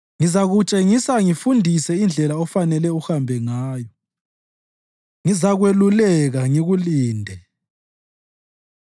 Ngizakutshengisa ngikufundise indlela ofanele uhambe ngayo; ngizakweluleka ngikulinde.